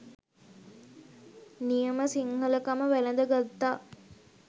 නියම සිංහලකම වැළඳ ගත්තා..